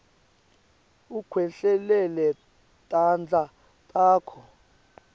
ukhwehlelele tandla takho